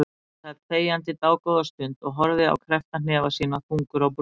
Benni sat þegjandi dágóða stund og horfði á kreppta hnefa sína, þungur á brún.